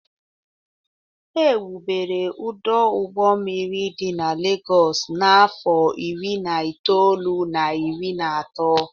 Ewubere ọdụ ụgbọ mmiri dị na Legọs n'afọ iri na itoolu na iri na atọ